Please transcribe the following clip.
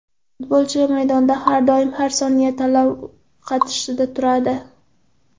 Futbolchi maydonda har doim, har soniya tanlov qarshisida turadi.